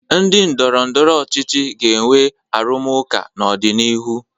Ndị ndọrọndọrọ ọchịchị ga-enwe arụmụka n'ọdịnihu.